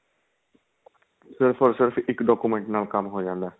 ਸਿਰਫ਼ ਔਰ ਸਿਰਫ਼ ਇੱਕ document ਨਾਲ ਕੰਮ ਹੋ ਜਾਂਦਾ ਏ